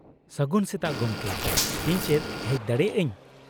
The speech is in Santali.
-ᱥᱟᱹᱜᱩᱱ ᱥᱮᱛᱟᱜ ᱜᱚᱢᱠᱮ, ᱤᱧ ᱪᱮᱫ ᱦᱮᱡ ᱫᱟᱲᱮᱭᱟᱜ ᱟᱹᱧ ?